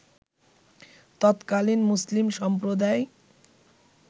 তৎকালীন মুসলিম সম্প্রদায়